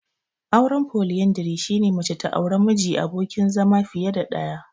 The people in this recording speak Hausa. Auren Foliyandari, shine mace ta aure miji/abokin zama fiye da ɗaya.